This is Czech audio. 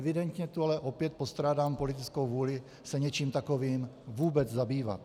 Evidentně tu ale opět postrádám politickou vůli se něčím takovým vůbec zabývat.